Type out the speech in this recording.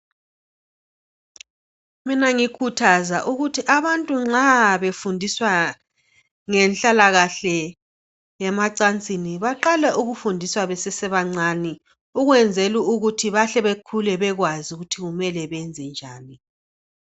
Mina ngikhuthaza ukuthi abantu nxa befundiswa ngenhlalakahle yemacansini baqale ukufundiswa besese bancane ukwenzela ukuthi bahle bekhule bekwazi ukuthi mele benze njani.